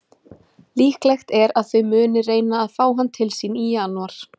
Líklegt er að þau muni reyna að fá hann til sín í janúar.